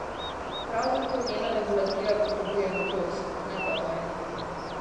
Prav zato njena regulativa potrebuje modrost, ne pa vojne.